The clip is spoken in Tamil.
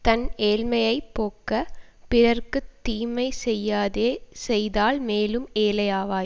தன் ஏழ்மையைப் போக்கப் பிறர்க்கு தீமை செய்யாதே செய்தால் மேலும் ஏழை ஆவாய்